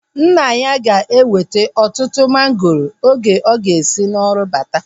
Nna ya ga-eweta ọtụtụ mangoro oge ọ ga-esi n'ọrụ bata